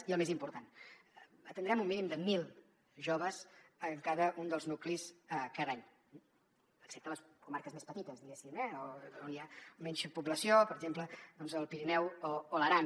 i el més important atendrem un mínim de mil joves en cada un dels nuclis cada any excepte a les comarques més petites diguéssim on hi ha menys població per exemple doncs al pirineu o l’aran